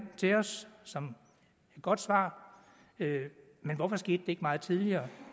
til os som et godt svar men hvorfor skete det ikke meget tidligere